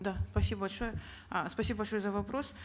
да спасибо большое а спасибо большое за вопрос